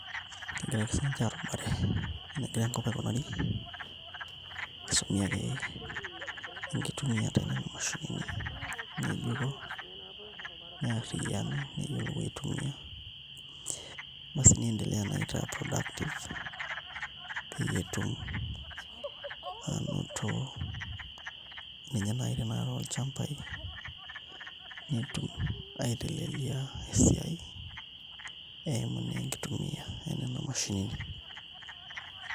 Kegira ake siinche aarubare enegira enkop aikunari, kisumi ake enkitumiata enena mashinini ng'ejuko nearriyianu neyiolou aitumia niendelea naa aitaa productive peyie etum aanoto ninye naai tenaa tolchambai netum aiteleliaa esiai eimu naa enkitumiaa enena mashinini.